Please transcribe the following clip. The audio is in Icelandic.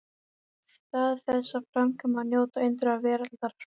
Í stað þess að framkvæma og njóta undra veraldar?